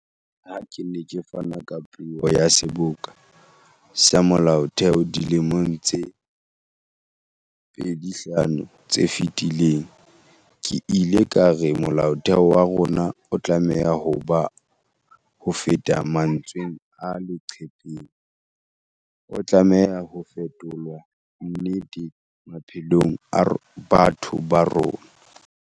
Ha ke ne ke fana ka puo ya Seboka sa Molaotheo dilemong tse 25 tse fetileng, ke ile ka re Molaotheo wa rona o tlameha ho ba hofeta mantsweng a leqhepeng, o tlameha ho fetolwa nnete maphelong a batho ba rona.